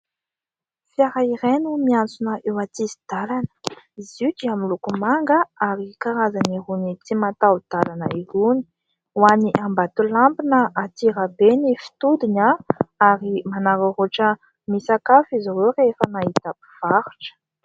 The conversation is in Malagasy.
Fiara iray no miantsona eo antsisin-dalana, izy io dia miloko manga ary karazan'iroany tsy mataho-dalana iroany, ho any Ambatolampy na Antsirabe ny fitodiny ah, ary manararaotra misakafo izy ireo rehefa nahita mpivarotra.